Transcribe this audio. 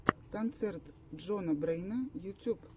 концерт джона брэйна ютюб